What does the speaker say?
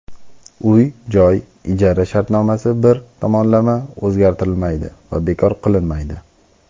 Uy-joy ijara shartnomasi bir tomonlama o‘zgartirilmaydi va bekor qilinmaydi.